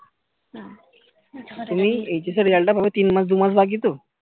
তুমি HS এর result টা পাবে তিন মাস দু মাস বাকি তো